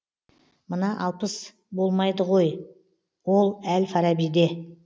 мына алпыс болмайды ғой ол әл фарабиде